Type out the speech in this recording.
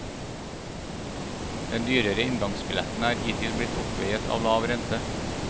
Den dyrere inngangsbilletten er hittil blitt oppveiet av lav rente.